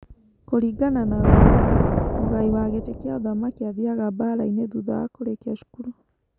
Kũringana na ũndũire, mũgai wa gĩtĩ kĩa ũthamaki athiaga mbaara-inĩ thutha wa kũrĩkia cukuru.